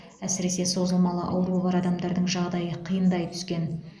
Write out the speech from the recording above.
әсіресе созылмалы ауруы бар адамдардың жағдайы қиындай түскен